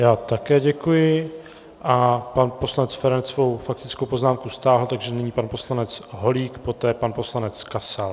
Já také děkuji a pan poslanec Feranec svou faktickou poznámku stáhl, takže nyní pan poslanec Holík, poté pan poslanec Kasal.